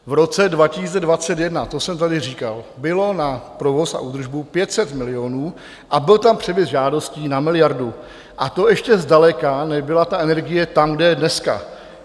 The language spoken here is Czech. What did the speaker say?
V roce 2021, to jsem tady říkal, bylo na provoz a údržbu 500 milionů a byl tam převis žádostí na miliardu, a to ještě zdaleka nebyla ta energie tam, kde je dneska.